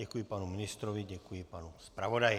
Děkuji panu ministrovi, děkuji panu zpravodaji.